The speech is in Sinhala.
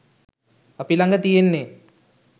අපි ලඟ තියෙන්නේ